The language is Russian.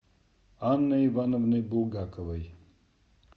анной ивановной булгаковой